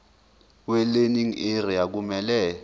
welearning area kumele